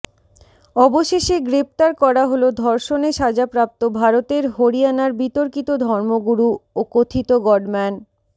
অবশেষে গ্রেপ্তার করা হল ধর্ষণে সাজাপ্রাপ্ত ভারতের হরিয়ানার বিতর্কিত ধর্মগুরু ও কথিত গডম্যান